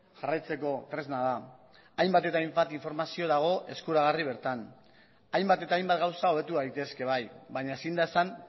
jarraitzeko tresna da hainbat eta hainbat informazio dago eskuragarri bertan hainbat eta hainbat gauza hobetu daitezke bai baina ezin da esan